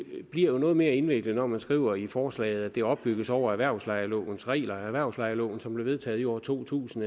bliver noget mere indviklet når man skriver i forslaget at det opbygges over erhvervslejelovens regler erhvervslejeloven som blev vedtaget i år to tusind